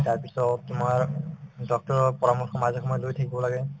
তাৰপিছত তোমাৰ doctor ৰৰ পৰামৰ্শ মাজে সময়ে লৈ থাকিব লাগে